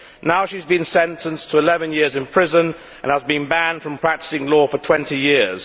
Now she has been sentenced to 11 years in prison and banned from practising law for 20 years.